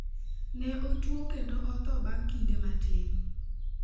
Ne otuo kendo otho bang' kinde matin.